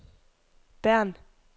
Bern